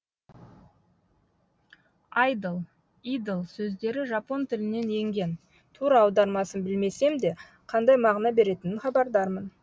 айдол идол сөздері жапон тілінен енген тура аудармасын білмесем де қандай мағына беретінен хабардармын